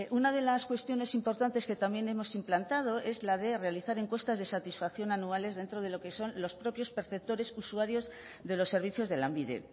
una de las cuestiones importantes que también hemos implantado es la de realizar encuestas de satisfacción anuales dentro de lo que son los propios perceptores usuarios de los servicios de lanbide